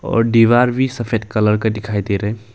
और दीवार भी सफेद कलर का दिखाई दे रहे हैं।